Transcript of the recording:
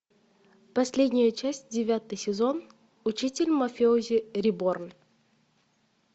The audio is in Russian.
последняя часть девятый сезон учитель мафиози реборн